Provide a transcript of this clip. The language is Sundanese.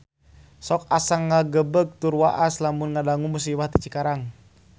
Sok asa ngagebeg tur waas lamun ngadangu musibah di Cikarang